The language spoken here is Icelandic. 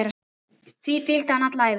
Því fylgdi hann alla ævi.